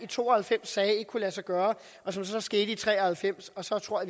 to og halvfems sagde ikke kunne lade sig gøre og som så skete i nitten tre og halvfems og så tror